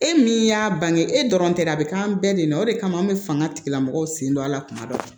E min y'a bange e dɔrɔn tɛ a be k'an bɛɛ de la o de kama an be fanga tigilamɔgɔw sen don a la kuma dɔ la